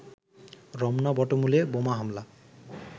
রমনা বটমূলে বোমা হামলা